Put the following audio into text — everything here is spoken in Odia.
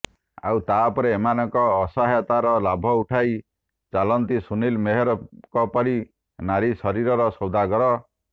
ଆଉ ତାପରେ ଏମାନଙ୍କ ଅସହାୟତାର ଲାଭ ଉଠାଇ ଚାଲନ୍ତି ସୁନିଲ ମେହେରଙ୍କ ପରି ନାରୀଶରୀରର ସୌଦାଗର